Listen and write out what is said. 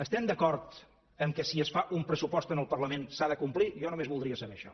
estem d’acord que si es fa un pressupost en el parlament s’ha de complir jo només voldria saber això